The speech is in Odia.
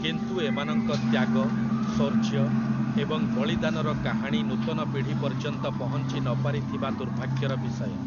କିନ୍ତୁ ଏମାନଙ୍କ ତ୍ୟାଗ, ଶୌର୍ଯ୍ୟ ଏବଂ ବଳିଦାନର କାହାଣୀ ନୂତନ ପିଢ଼ି ପର୍ଯ୍ୟନ୍ତ ପହଞ୍ଚି ନପାରିଥିବା ଦୁର୍ଭାଗ୍ୟର ବିଷୟ ।